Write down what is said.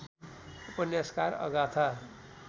उपन्यासकार अगाथा